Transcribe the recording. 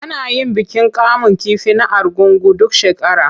Ana yin bikin kamun kifi na Argungu duk shekara.